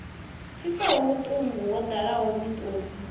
pfisaho vhuṱungu wo ḓala miṱodzi